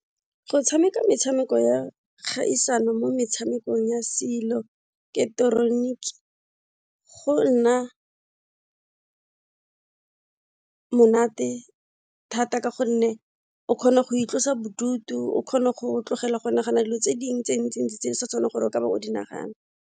Go tshameka metshameko ya kgaisano mo metshamekong ya seiloketeroniki go nna monate thata ka gonne o kgona go itlosa bodutu, o kgona go tlogela go nagana dilo tse dingwe tse di ntsi ntsi tse sa tshwanelang gore o ka ba o di nagana.